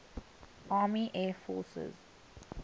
army air forces